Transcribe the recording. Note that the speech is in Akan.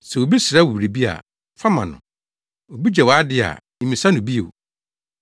Sɛ obi srɛ wo biribi a, fa ma no. Obi gye wʼade a, mmisa no bio.